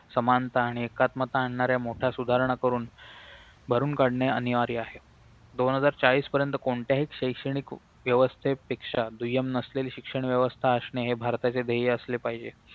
समानता आणि एकात्मता आणणाऱ्या मोठ्या सुधारणा करून भरून काढणे अनिवार्य आहे दोन हजार चाळीस पर्यंत कोणत्याही शैक्षणिक व्यवस्थेपेक्षा दुय्यम नसलेली शिक्षण व्यवस्था असणे हे भारताचे ध्येय असले पाहिजे